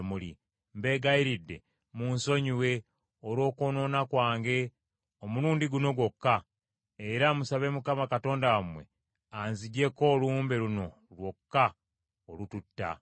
Mbeegayiridde munsonyiwe olw’okwonoona kwange, omulundi guno gwokka; era musabe Mukama Katonda wammwe anziggyeeko olumbe luno lwokka olututta.”